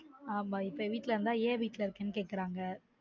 ஆமா இப்ப வீட்ல இருந்தா ஏன்? வீட்ல இருக்கனு கேக்குறாங்க